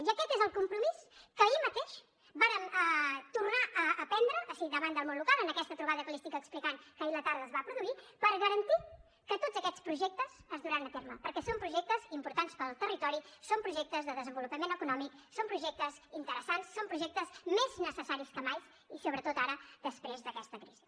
i aquest és el compromís que ahir mateix vàrem tornar a prendre davant del món local en aquesta trobada que li estic explicant que ahir a la tarda es va produir per garantir que tots aquests projectes es duran a terme perquè són projectes importants per al territori són projectes de desenvolupament econòmic són projectes interessants són projectes més necessaris que mai i sobretot ara després d’aquesta crisi